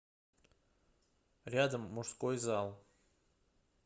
рядом мужской зал